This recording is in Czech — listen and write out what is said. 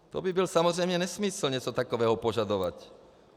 To by byl samozřejmě nesmysl něco takového požadovat.